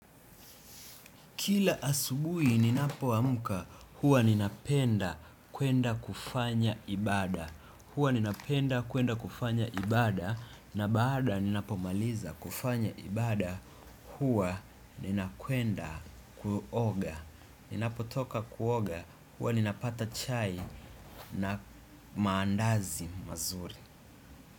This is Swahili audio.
Kila asubuhi ninapoamka huwa ninapenda kuenda kufanya ibaada. Huwa ninapenda kwenda kufanya ibaada na baada ninapomaliza kufanya ibaada huwa ninakwenda kuoga. Ninapotoka kuoga huwa ninapata chai na maandazi mazuri.